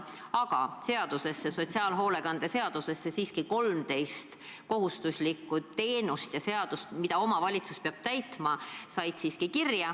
Aga sotsiaalhoolekande seadusesse said siiski kirja 13 kohustuslikku teenust ja seadust, mida omavalitsus peab täitma.